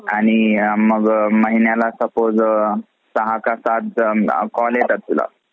आणि मग महिन्याला suppose तुला सहा का सात call येतात तुला.